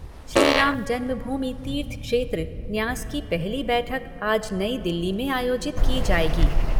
श्रीराम जन्म भूमि तीर्थ क्षेत्र न्यास की पहली बैठक आज नई दिल्ली में आयोजित की जाएगी।